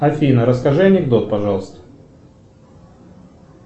афина расскажи анекдот пожалуйста